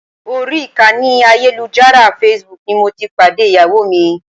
Orí ìkànnì ayélujára Facebook ni mo ti pàdé Ìyàwó mi.